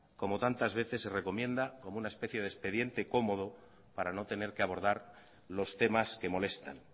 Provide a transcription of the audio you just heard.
como tantas veces se recomienda con una especie de expediente cómodo para no tener que abordar los temas que molestan